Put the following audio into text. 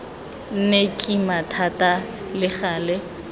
nne kima thata le gale